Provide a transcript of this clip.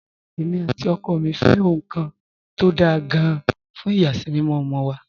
Èmi àti ọkọ mi fẹ́ ohun kan tó dáa gan-an fún ìyàsímímọ́ ọmọ wa